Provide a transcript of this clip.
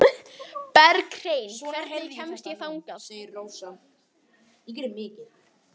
Berghreinn, hvernig kemst ég þangað?